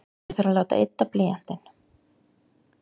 Ég þarf að láta ydda blýantinn.